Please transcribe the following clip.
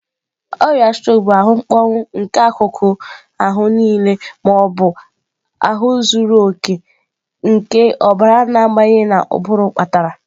Ọrịa strok bụ ahụ mkpọnwụ nke akụkụ ma ọ bụ zuru oke nke ọbara na-abanye na ụbụrụ kpatara.